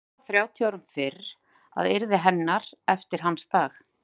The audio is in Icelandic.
Lóu þrjátíu árum fyrr að yrði hennar eftir hans dag.